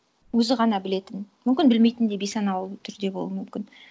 өзі ғана білетін мүмкін білмейтін де бейсаналы түрде болуы мүмкін